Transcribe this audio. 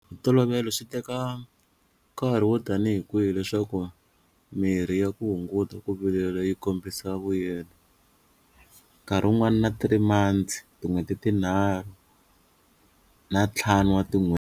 Hi ntolovelo swi teka nkarhi wo tanihi kwihi leswaku mirhi ya ku hunguta ku vilela yi kombisa vuyelo nkarhi wun'wana na three months tin'hweti tinharhu na ntlhanu wa tin'hweti.